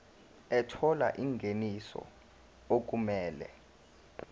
ethola ingeniso okumele